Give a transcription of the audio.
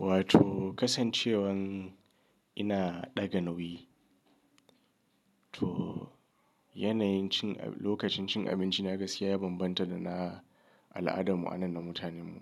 Wato kasancewar ina ɗaga nauyi to yanayin cin-- lokacin cin abinci na gaskiya ya bambanta da na al'adar mu anan na mutanen mu.